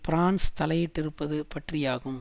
France தலையிட்டிருப்பது பற்றியாகும்